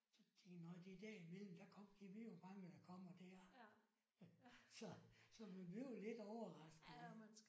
Så tænkte jeg nåh det er derimellem der kom gad vide hvor mange der kommer der. Så så man bliver lidt overrasket ik